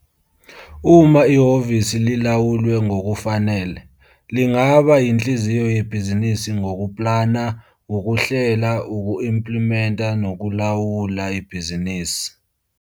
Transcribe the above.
Uma ihhovisi lilawulwe ngokufanele, lingaba yinhliziyo yebhizinisi ngokuplana, ukuhlela, uku-implimenta nakulawula ibhizinisi